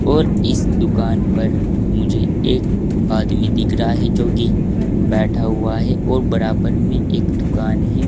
और इस दुकान पर मुझे एक आदमी दिख रहा है जोकि बैठा हुआ है और बराबर में एक दुकान है।